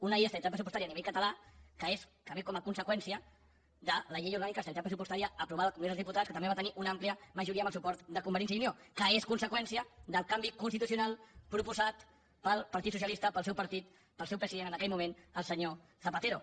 una llei d’estabilitat pressupostària a nivell català que és que ve com a conseqüència de la llei orgànica d’estabilitat pressupostària aprovada al congrés dels diputats que també va tenir una amplia majoria amb el suport de convergència i unió que és conseqüència del canvi constitucional proposat pel partit socialista pel seu partit pel seu president en aquell moment el senyor zapatero